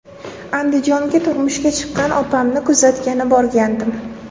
Andijonga turmushga chiqqan opamni kuzatgani borgandim.